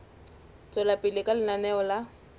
tswela pele ka lenaneo la